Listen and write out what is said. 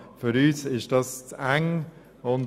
Für uns ist die Formulierung zu eng.